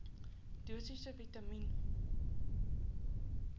dosisse vitamien